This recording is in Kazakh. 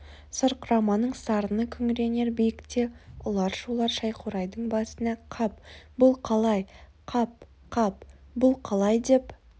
сарқыраманың сарыны күңіренер биікте ұлар шулар шәйқурайдың басында қап бұл қалай қап қап бұл қалай деп